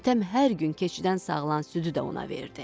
Hatəm hər gün keçidən sağılan südü də ona verdi.